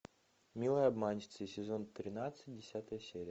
милые обманщицы сезон тринадцать десятая серия